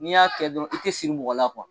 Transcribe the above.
N'i y'a kɛ dɔrɔn i te siri mɔgɔ la